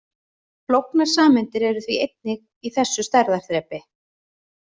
Flóknar sameindir eru því einnig í þessu stærðarþrepi.